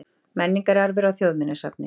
Menningararfur á Þjóðminjasafni.